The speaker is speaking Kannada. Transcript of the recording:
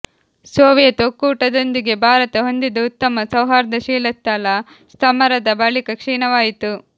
ಸೋವಿಯತ್ ಒಕ್ಕೂಟದೊಂದಿಗೆ ಭಾರತ ಹೊಂದಿದ್ದ ಉತ್ತಮ ಸೌಹಾರ್ದ ಶೀತಲ ಸಮರದ ಬಳಿಕ ಕ್ಷೀಣವಾಯಿತು